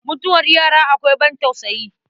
Mutuwar yara akwai ban tausayi.